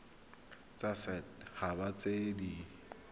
tsa set haba tse di